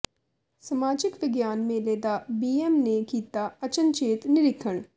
ਸਮਾਜਿਕ ਵਿਗਿਆਨ ਮੇਲੇ ਦਾ ਬੀਐੱਮ ਨੇ ਕੀਤਾ ਅਚਨਚੇਤ ਨਿਰੀਖਣ